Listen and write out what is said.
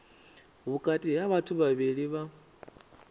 vhukati ha vhathu vhavhili vha